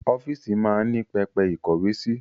Ọ́fíìsì máa ń ní pẹpẹ ìkówe sí